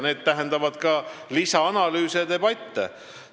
See tähendab lisaanalüüse ja debatte.